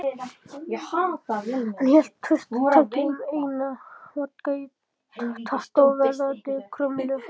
Hann hélt traustataki um eina vodka í tattóveraðri krumlu.